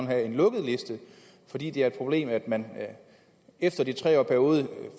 have en lukket liste fordi det er et problem at man efter en tre årig periode